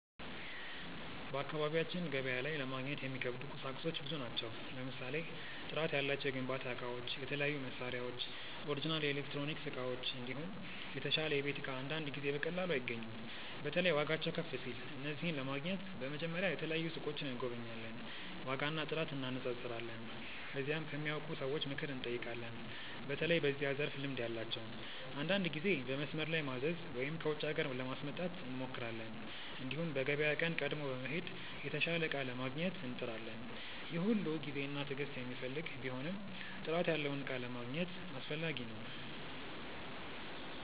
በአካባቢያችን ገበያ ላይ ለማግኘት የሚከብዱ ቁሳቁሶች ብዙ ናቸው። ለምሳሌ ጥራት ያላቸው የግንባታ እቃዎች፣ የተለያዩ መሳሪያዎች፣ ኦሪጅናል ኤሌክትሮኒክስ እቃዎች፣ እንዲሁም የተሻለ የቤት እቃ አንዳንድ ጊዜ በቀላሉ አይገኙም። በተለይ ዋጋቸው ከፍ ሲል። እነዚህን ለማግኘት በመጀመሪያ የተለያዩ ሱቆችን እንጎበኛለን፣ ዋጋና ጥራት እንነጻጸራለን። ከዚያም ከሚያውቁ ሰዎች ምክር እንጠይቃለን፣ በተለይ በዚያ ዘርፍ ልምድ ያላቸውን። አንዳንድ ጊዜ በመስመር ላይ ማዘዝ ወይም ከውጪ ሀገር ለማስመጣት እንሞክራለን። እንዲሁም በገበያ ቀን ቀድሞ በመሄድ የተሻለ እቃ ለማግኘት እንጥራለን። ይህ ሁሉ ጊዜና ትዕግስት የሚፈልግ ቢሆንም ጥራት ያለውን እቃ ለማግኘት አስፈላጊ ነው።